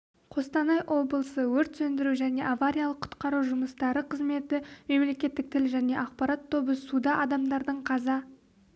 қостанай облысы өрт сөндіру және авариялық-құтқару жұмыстары қызметі мемлекеттік тіл және ақпарат тобы суда адамдардың қаза